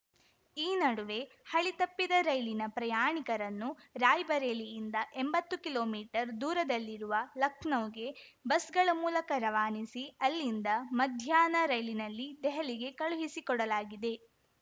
ಈ ನಡುವೆ ಹಳಿ ತಪ್ಪಿದ ರೈಲಿನ ಪ್ರಯಾಣಿಕರನ್ನು ರಾಯ್‌ಬರೇಲಿಯಿಂದ ಎಂಬತ್ತು ಕಿಲೋಮೀಟರ್ ದೂರದಲ್ಲಿರುವ ಲಖನೌಗೆ ಬಸ್‌ಗಳ ಮೂಲಕ ರವಾನಿಸಿ ಅಲ್ಲಿಂದ ಮಧ್ಯಾಹ್ನ ರೈಲಿನಲ್ಲಿ ದೆಹಲಿಗೆ ಕಳುಹಿಸಿಕೊಡಲಾಗಿದೆ